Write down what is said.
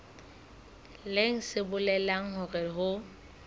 leng se bolelang hore ho